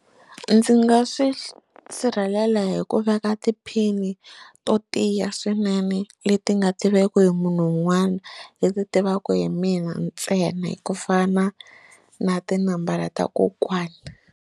Ndzi nga swi sirhelela hi ku veka tiphini to tiya swinene leti nga tiveki hi munhu un'wana leti tivaka hi mina ntsena hi ku fana na tinambara ta kokwani.